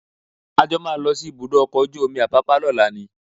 A jọ máa lọ sí ibùdó ọkọ̀ ojú omi Apápá lọ́la ni